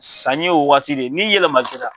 Sanni ye o wagati de ye, ni yɛlɛma kɛra